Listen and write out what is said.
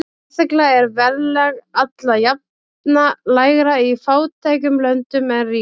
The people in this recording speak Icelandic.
Sérstaklega er verðlag alla jafna lægra í fátækum löndum en ríkum.